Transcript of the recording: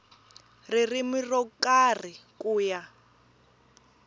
ririmi ro karhi ku ya